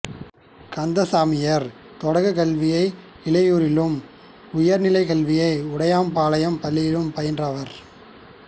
கந்தசாமியார் தொடக்கக் கல்வியை இலையூரிலும் உயர்நிலைக் கல்வியை உடையார்பாளையம் பள்ளியிலும் பயின்றவர்